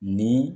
Ni